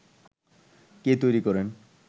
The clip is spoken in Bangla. কে তৈরী করেন